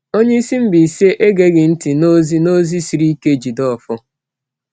Onye isi Mbaise egeghị ntị n’ozi n’ozi siri ike Jideofor.